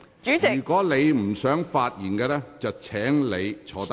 如果你不想發言，請你坐下。